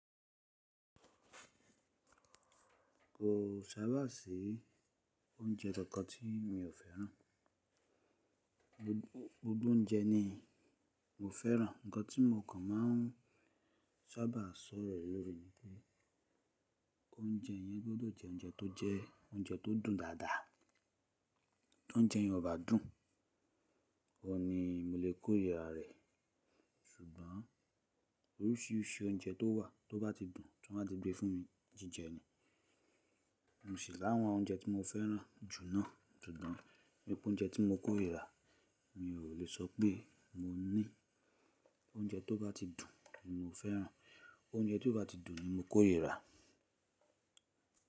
Kò sábà sí oúnjẹ kankan tí mi ò fẹ́ràn. Gbogbo oúnjẹ ni mo fẹ́ràn. Ǹkan tí mo kàn máa ń sábà sọ̀rọ̀ lórí ni pé oúnjẹ yẹn gbọdọ̀ jẹ oúnjẹ tó jẹ oúnjẹ tó dùn dáadáa. Tí oúnjẹ yẹn ò bá dùn, kò ní mo lè kóyè rà rẹ̀. Ṣùgbọ́n oríṣìíríṣìí oúnjẹ tó wà tó bá ti dùn, tí wọ́n bá ti gbé fún mi, jíjẹ ni. Mosì láwọn oúnjẹ tí mo fẹ́ràn jù náà. Ṣùgbọ́n nínú oúnjẹ tí mo kórirà mi ò lè sọ pé mo ní oúnjẹ tó bá ti dùn ni mo fẹ́ràn. Oúnjẹ tí ó bá ti dùn ni mo korira.